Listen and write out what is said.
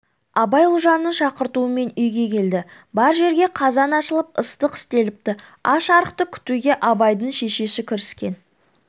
абай ұлжанның шақыртуымен үйге келді бар жерге қазан асылып ыстық істеліпті аш-арықты күтуге абайдың шешесі кіріскен